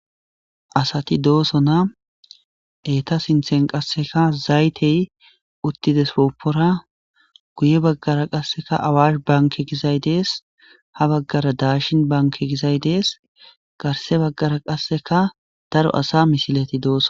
Asati de,osona eta sinthan qasika zayithe utizasopora guye bagara qasika awash banke gizayi dees ha bagara qasika dashin banke gizayi dees garse bagara qasika daro asa misileti de, osona